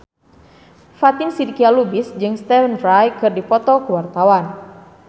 Fatin Shidqia Lubis jeung Stephen Fry keur dipoto ku wartawan